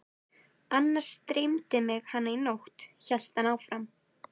Annars dreymdi mig hana í nótt, hélt hann áfram.